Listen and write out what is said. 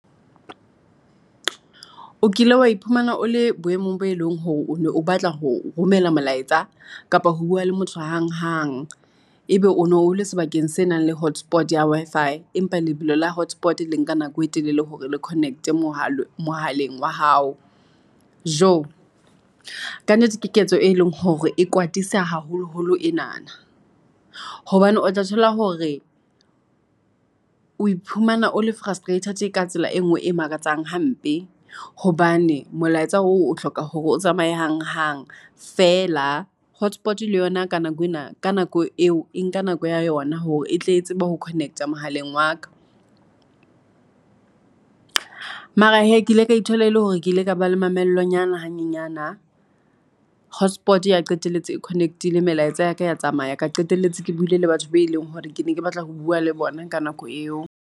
O kile wa iphumana o le boemong bo e leng hore o batla ho romela molaetsa kapo ho bua le motho hang-hang. Ebe o no le sebakeng se nang le hotspot-e ya Wi-Fi, empa lebelo la hotspot-e le nka nako e telele hore le connect-e mohaleng oa hao. Tjo, ka nnete ke ketso e leng hore e kwatisa haholoholo enana, hobane o tla thola hore oe phumana ole frustrated ka tsela e ngwe e makatsang hampe, hobane molaetsa oo hloka hore o tsamaye hang hang, feela hotspot-e le yona ka nako eo e nka nako ya yona hore e tle tseba ho connect-a a mohaleng wa ka. Mara he, ke ile ka ithola ele hore ke ile ka ba le mamello nyana hanyenyana, hotspot-e ya qetelletse e connect-ile melaetsa ya ka ya tsamaya, ka qetelletse ke buile le batho be e leng hore ke ne ke batla ho bua le bona ka nako eo.